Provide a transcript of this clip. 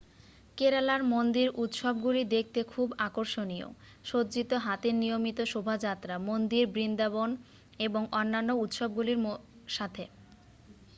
কেরালার মন্দির উত্সবগুলি দেখতে খুব আকর্ষণীয় সজ্জিত হাতির নিয়মিত শোভাযাত্রা মন্দির বৃন্দবাদন এবং অন্যান্য উত্সবগুলির সাথে